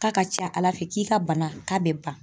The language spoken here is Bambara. K'a ka ca ala fɛ k'i ka bana k'a bɛ ban.